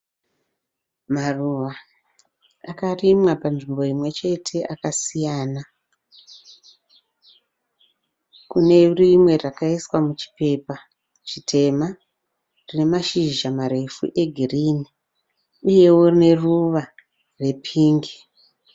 Maruva akarimwa panzvimbo imwechete akasiyana kunerimwe rakaiswa muchipepa chitema rinemashizha marefu egirini uyewo neruva repingi.